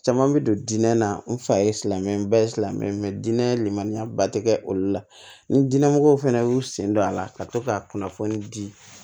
Caman bɛ don diinɛ na n fa ye silamɛ ba ye silamɛ dinɛ len lenmaniya ba tɛ kɛ olu la ni diinɛ mɔgɔ fana y'u sen don a la ka to ka kunnafoni di